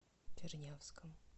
чернявском